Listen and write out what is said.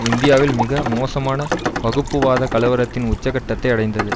இந்தியாவில் மிக மோசமான வகுப்புவாதக் கலவரத்தின் உச்சக்கட்டத்தை அடைந்தது